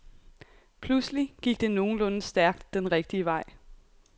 Pludselig gik det nogenlunde stærkt den rigtige vej.